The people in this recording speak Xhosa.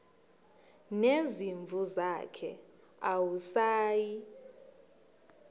nezimvu zakhe awusayi